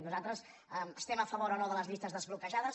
nosaltres estem a favor o no de les llistes desbloquejades